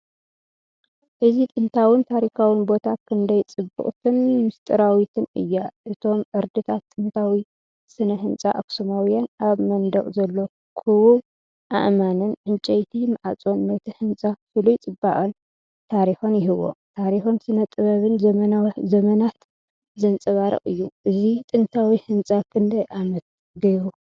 እዚ ጥንታዊን ታሪኻውን ቦታ ክንደይ ጽብቕትን ምስጢራዊትን እያ! እቶም ዕርድታት ጥንታዊ ስነ-ህንጻ ኣኽሱማውያን፣ ኣብ መናድቕ ዘሎ ክቡብ ኣእማንን ዕንጨይቲ ማዕጾን ነቲ ህንጻ ፍሉይ ጽባቐን ታሪኽን ይህቦ፣ ታሪኽን ስነ-ጥበብን ዘመናት ዘንጸባርቕ እዩ። እዚ ጥንታዊ ህንጻ ክንደይ ዓመት ገይሩ?